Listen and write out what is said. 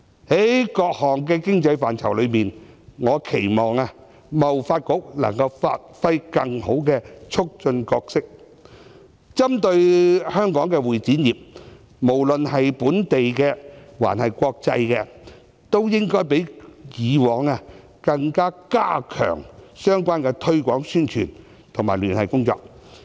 在各項的經濟範疇中，我期望貿易發展局能夠發揮更好的促進角色，針對香港的會議及展覽業，無論是本地或國際，都應該較以往加強相關的推廣宣傳及聯繫工作。